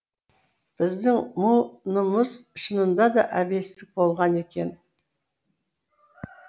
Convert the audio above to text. біздің мұ нымыз шынында да әбестік болған екен